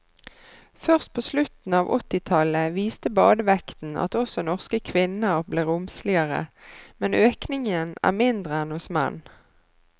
Først på slutten av åttitallet viste badevekten at også norske kvinner ble romsligere, men økningen er mindre enn hos menn.